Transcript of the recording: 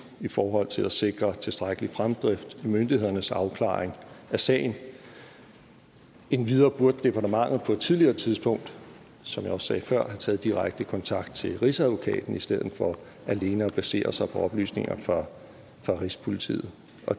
i forhold til at sikre tilstrækkelig fremdrift i myndighedernes afklaring af sagen endvidere burde departementet på et tidligere tidspunkt som jeg også sagde før have taget direkte kontakt til rigsadvokaten i stedet for alene at basere sig på oplysninger fra rigspolitiet